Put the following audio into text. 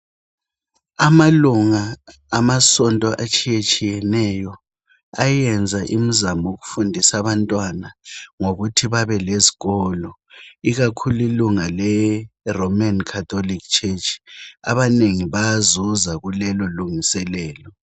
Amalunga amasonto etshiyetshiyeneyo, ayenza imizamo yokufundisa abantwana ngokuthi babe lezikolo. Ikakhulu ilunga le "Roman Catholic Church " abanengi bayazuza kulelo lungiselelo.